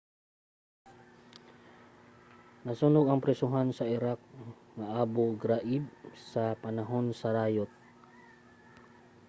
nasunog ang prisohan sa iraq nga abu ghraib sa panahon sa rayot